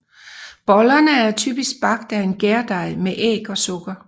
Bollerne er typisk bagt af en gærdej med æg og sukker